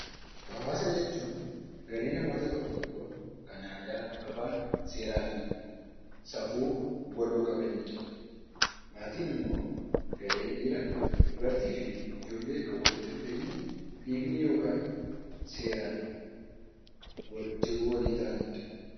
Hawaasa jechuun garee namoota tokko tokkoon kan aadaa, afaan, seeraa fi safuu waloo qabanidha. Maatiin immoo garee dhiira, dubartii fi ijoollee kan walitti dhufeenya dhiigni yookaan seeraan jiruu walii ta'aniidha.